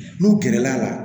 N'u gɛrɛl'a la